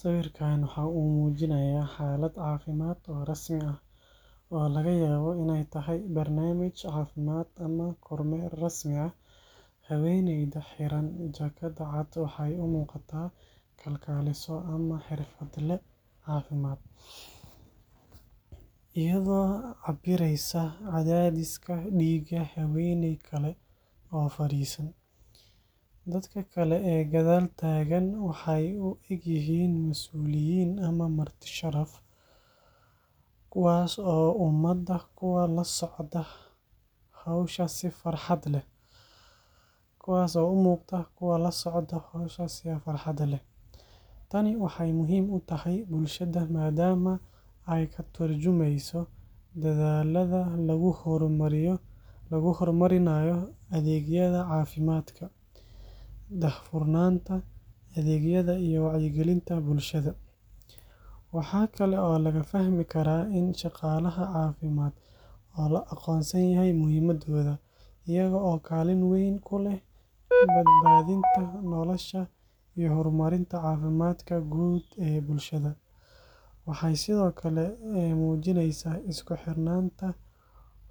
Sawirkan waxa uu muujinayaa xaalad caafimaad oo rasmi ah, oo laga yaabo inay tahay barnaamij caafimaad ama kormeer rasmi ah. Haweeneyda xiran jaakadda cad waxay u muuqataa kalkaaliso ama xirfadle caafimaad, iyadoo cabbiraysa cadaadiska dhiigga haweeney kale oo fariisan. Dadka kale ee gadaal taagan waxay u egyihiin masuuliyiin ama marti sharaf, kuwaas oo u muuqda kuwo la socda hawsha si farxad leh. Tani waxay muhiim u tahay bulshada maadaama ay ka tarjumayso dadaallada lagu horumarinayo adeegyada caafimaadka, daahfurnaanta adeegyada, iyo wacyigelinta bulshada. Waxa kale oo laga fahmi karaa in shaqaalaha caafimaad loo aqoonsan yahay muhiimadooda — iyaga oo kaalin weyn ku leh badbaadinta nolosha iyo horumarinta caafimaadka guud ee bulshada. Waxay sidoo kale muujinaysaa isku xirnaanta